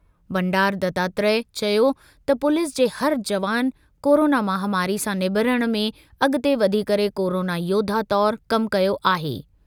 बंडारू दत्तात्रेय चयो त पुलिस जे हर जवान कोरोना महामारी सां निबेरण में अॻिते वधी करे कोरोना योद्धा तौरु कमु कयो आहे।